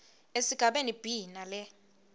esigabeni b nale